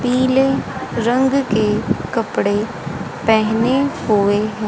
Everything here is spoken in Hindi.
पीले रंग के कपड़े पहने हुए हैं।